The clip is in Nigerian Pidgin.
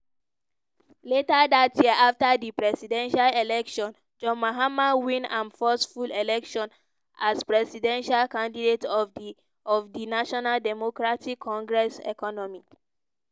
later dat year afta di presidential election john mahama win im first full election as presidential candidate of di of di national democratic congress. economy-